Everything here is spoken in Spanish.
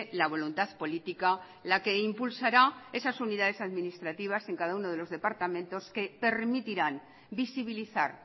la voluntad política la que impulsará esas unidades administrativas en cada uno de los departamentos que permitirán visibilizar